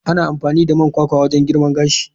Ana amfani da man kwakwa don girma gashi.